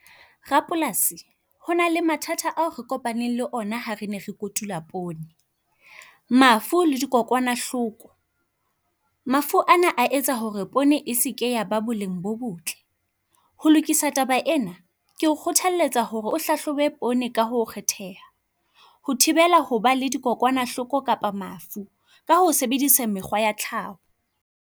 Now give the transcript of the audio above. Rapolasi hona le mathata ao re kopaneng le ona ha re ne kotula poone. Mafu le dikokwanahloko. Mafu ana a etsa hore e seke ya ba boleng bo bo botle ho lokisa taba ena keo kgothalletsa hore o hlohobe poone ka ho kgetheha. Ho thibela hoba le dikokwanahloko kapa mafu ka ho sebedisa mekgwa ya tlhao.